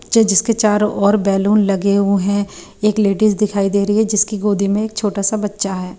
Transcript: ये जिसके चारों ओर बैलून लगे हुए हैं एक लेडीज दिखाई दे रही है जिसकी गोदी में एक छोटा सा बच्चा है।